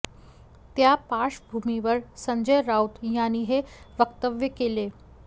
त्या पार्श्वभूमीवर संजय राऊत यांनी हे वक्तव्य केले